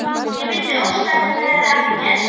Ég vildi óska að þetta hefði aldrei gerst.